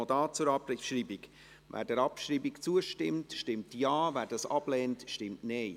Wer der Abschreibung zustimmt, stimmt Ja, wer dies ablehnt, stimmt Nein.